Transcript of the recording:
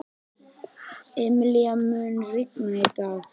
Emilíana, mun rigna í dag?